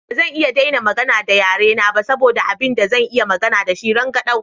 Ba zan iya daina magana da yare na ba saboda abin da zan iya magana da shi rangadau.